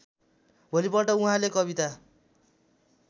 भोलिपल्ट उहाँले कविता